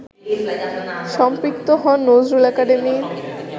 সম্পৃক্ত হন নজরুল একাডেমি